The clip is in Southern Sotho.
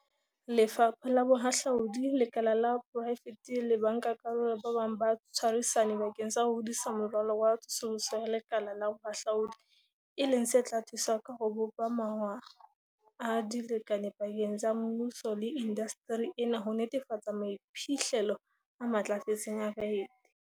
Lefapha la Bohahlaudi, lekala la poraefete le bankakarolo ba bang ba tshwarisane bakeng sa ho hodisa Moralo wa Tsosoloso ya Lekala la Bohahlaudi, e leng se tla thusa ka ho bopa mawa a dilekane pakeng tsa mmuso le indasteri ena ho netefatsa maiphihlelo a matlafetseng a baeti.